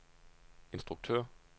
instruktør